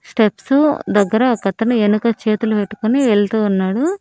Steps దగ్గర ఒకతను వెనుక చేతులు పెట్టుకొని వెళ్తు ఉన్నాడు.